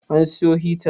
An siyo hitar?